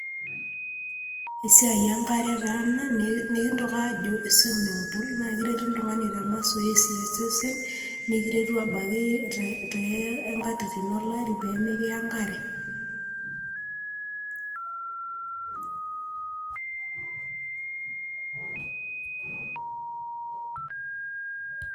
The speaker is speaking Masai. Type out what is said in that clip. esiaai enkare taa ena nikintoki ajo [cs[swimming pool. naa keret oltungani te masosesi osesen ,nikiretu ebaiki too nkatitin olari pemikiya enkare